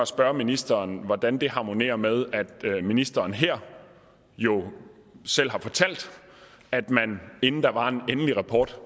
spørge ministeren hvordan det harmonerer med at ministeren her jo selv har fortalt at man inden der var en endelig rapport